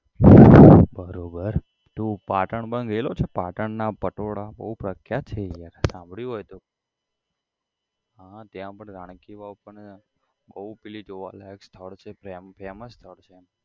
બરોબર તું પાટણ માં ગયેલો છે પાટણ ના પટોળા બહુ પ્રખ્યાત છે યાર સાંભળ્યું હોય તો હ ત્યાં પણ રાણકીવાવ પણ બહુ પેલી જોવાલાયક સ્થળ છે ફેમ famous સ્થળ છે